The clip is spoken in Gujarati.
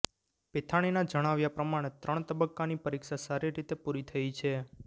પેથાણીના જણાવ્યા પ્રમાણે ત્રણ તબક્કાની પરીક્ષા સારી રીતે પુરી થઈ છે